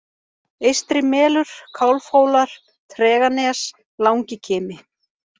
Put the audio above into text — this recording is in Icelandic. Eystrimelur, Kálfhólar, Treganes, Langikimi